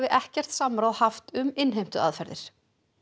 ekkert samráð haft um innheimtuaðferðir